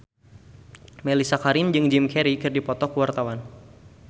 Mellisa Karim jeung Jim Carey keur dipoto ku wartawan